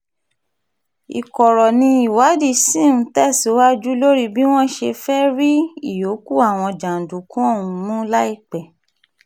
ìkorò ni ìwádìí ṣì ń tẹ̀síwájú lórí bí wọ́n ṣe fẹ́ẹ́ rí ìyókù àwọn jàǹdùkú ọ̀hún mú láìpẹ́